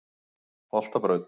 Holtabraut